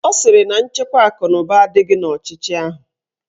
Ọ sịrị na nchekwa akụnụba adịghị n'ọchịchị ahụ